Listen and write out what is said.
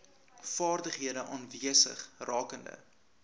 vaardighede aanwesig rakende